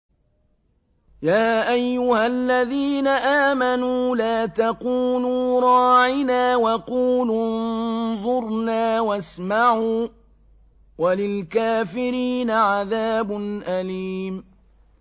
يَا أَيُّهَا الَّذِينَ آمَنُوا لَا تَقُولُوا رَاعِنَا وَقُولُوا انظُرْنَا وَاسْمَعُوا ۗ وَلِلْكَافِرِينَ عَذَابٌ أَلِيمٌ